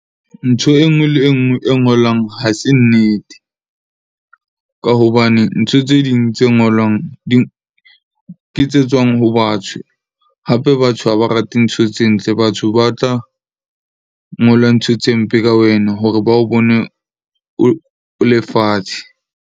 Ntho e nngwe le e nngwe e ngolwang ha se nnete, ka hobane ntho tse ding tse ngolwang ke tse tswang ho batho. Hape batho ha ba rate ntho tse ntle. Batho ba tla ngola ntho tse mpe ka wena hore ba o bone o le fatshe.